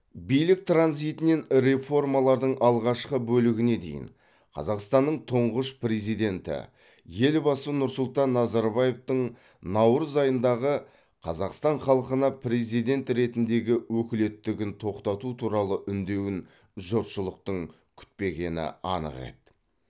билік транзитінен реформалардың алғашқы бөлігіне дейін қазақстанның тұңғыш президенті елбасы нұрсұлтан назарбаевтың наурыз айындағы қазақстан халқына президент ретіндегі өкілеттігін тоқтату туралы үндеуін жұртшылықтың күтпегені анық еді